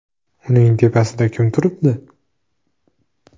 Uning tepasida kim turibdi?